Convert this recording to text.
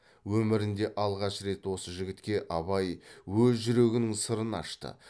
өмірінде алғаш рет осы жігітке абай өз жүрегінің сырын ашты